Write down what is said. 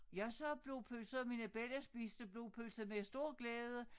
Jeg siger blodpølse mine bella spiste blodpølse med stor glæde